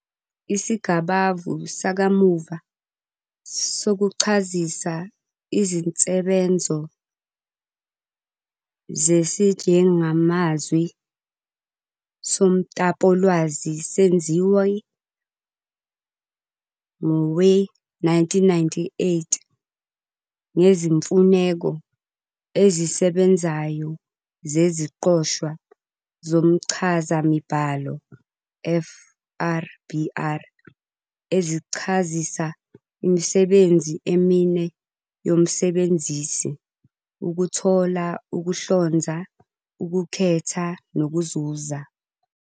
Isigabavu sakamuva sokuchazisa izinsebenzo zesijengamazwi somtapowolwazi senziwa ngowe-1998 ngeziMfuneko ezisebenzayo zeziQoshwa zomchazamibhalo, FRBR, ezichazisa imisebenzi emine yomsebenzisi- ukuthola, ukuhlonza, ukukhetha, nokuzuza.